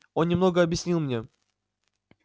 он немного объяснил мне